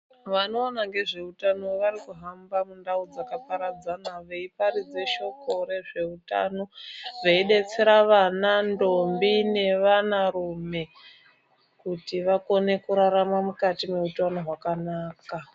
Vanoona ngezveutano vanohamba mundau dzakaparadzana veiparidze shoko rezveutano, veidetsera vana, ntombi nevanarume kuti vakone kurarama mukati meutano hwakanaka.